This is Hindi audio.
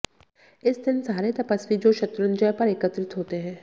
इस दिन सारे तपस्वी जो शत्रुंजय पर एकत्रित होते है